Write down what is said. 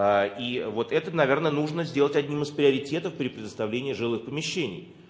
ээ и вот это наверное нужно сделать одним из приоритетов при предоставлении жилых помещений